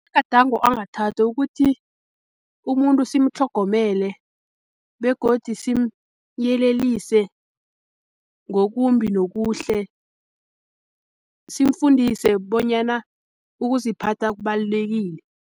Amagadango angathathwa ukuthi umuntu simtlhogomele begodi simyelelise ngokumbi nokuhle, simfundise bonyana ukuziphatha kubalulekile.